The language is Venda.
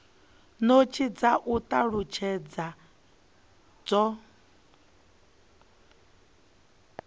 notsi dza u talutshedza zwo